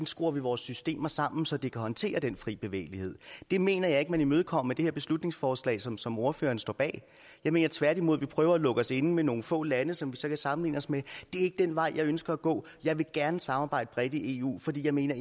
skruer vores systemer sammen så de kan håndtere den fri bevægelighed det mener jeg ikke man imødekommer med det her beslutningsforslag som som ordføreren står bag jeg mener tværtimod at vi prøver at lukke os inde med nogle få lande som vi så kan sammenligne os med det er ikke den vej jeg ønsker at gå jeg vil gerne samarbejde bredt i eu fordi jeg mener